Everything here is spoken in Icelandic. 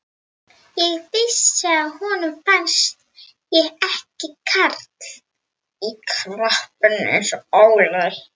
Ég vissi að honum fannst ég ekki karl í krapinu eins og Óli.